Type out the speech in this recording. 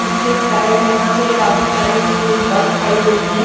पीछे साइड यहां पे काफी सारी स्कूल बस खड़ी हुई है।